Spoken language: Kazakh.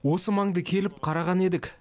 осы маңды келіп қараған едік